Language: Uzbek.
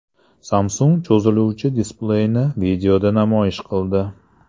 Samsung cho‘ziluvchi displeyni videoda namoyish qildi.